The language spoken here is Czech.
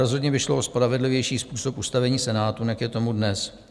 Rozhodně by šlo o spravedlivější způsob ustavení Senátu, než je tomu dnes.